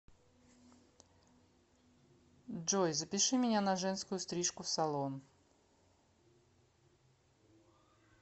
джой запиши меня на женскую стрижку в салон